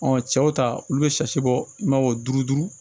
cɛw ta olu bɛ bɔ i b'a fɔ duuru duuru